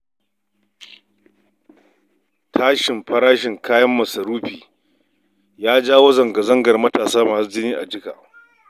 Tashin farashin kayan masarufi ya jawo zanga-zangar matasa masu jini a jika